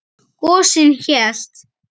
Gosinn hélt.